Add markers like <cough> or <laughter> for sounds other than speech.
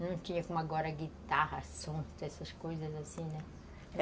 Não tinha como agora guitarra, <unintelligible> essas coisas assim, né?